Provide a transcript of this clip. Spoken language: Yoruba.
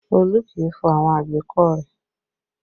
Olu kì í fọ àwọn àgbékọ̀ rẹ